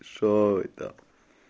что это